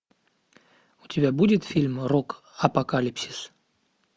у тебя будет фильм рок апокалипсис